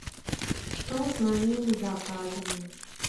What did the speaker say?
что с моими заказами